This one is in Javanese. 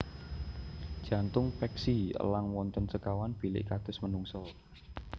Jantung peksi elang wonten sekawan bilik kados menungsa